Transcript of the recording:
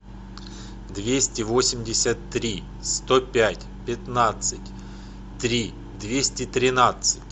двести восемьдесят три сто пять пятнадцать три двести тринадцать